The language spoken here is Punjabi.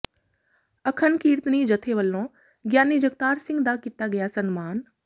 ਅਖੰਡ ਕੀਰਤਨੀ ਜਥੇ ਵੱਲੋਂ ਗਿਆਨੀ ਜਗਤਾਰ ਸਿੰਘ ਦਾ ਕੀਤਾ ਗਿਆ ਸਨਮਾਨ